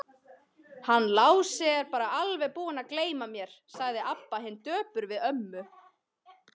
Hann Lási er bara alveg búinn að gleyma mér, sagði Abba hin döpur við ömmu.